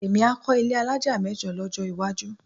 Èmi á kọ́ ilé alájà mẹ́jọ lọ́jọ́ iwájú